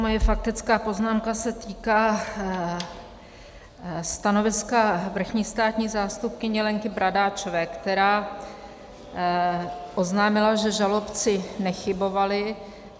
Moje faktická poznámka se týká stanoviska vrchní státní zástupkyně Lenky Bradáčové, která oznámila, že žalobci nechybovali.